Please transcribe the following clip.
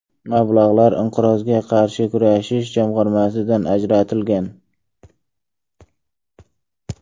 Mablag‘lar Inqirozga qarshi kurashish jamg‘armasidan ajratilgan.